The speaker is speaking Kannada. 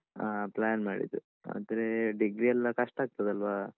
ಆ plan ಮಾಡಿದ್ದು ಆದ್ರೇ degree ಯೆಲ್ಲ ಕಷ್ಟ ಆಗ್ತದಲ್ವಾ?